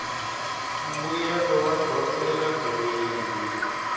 mbuyelo wa dyondzo eka gireyidi